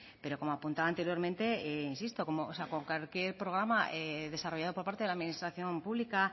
pero como apuntaba anteriormente insisto con cualquier programa desarrollado por parte de la administración pública